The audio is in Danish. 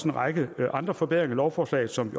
en række andre forbedringer i lovforslaget som